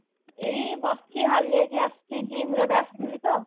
ଏଇ ବସିଛି ହାଲୀୟା ହେଇକୀ ଆସିଛି gym ରୁ ଏବେ ଆସିଥିଲି ତ